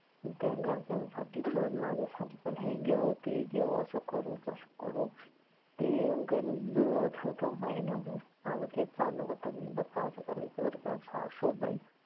घरच्यां साठी पण माझ्या साठी पण हे घेऊ ते घेऊ असं करू तसं करू ते गणित जुळवत होतो महिनभर माझ तेच चालू होत. बरका करायचं बरका काय हा शोधायचं